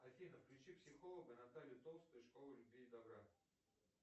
афина включи психолога наталью толстую из школы любви и добра